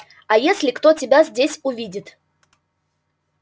а если кто тебя здесь увидит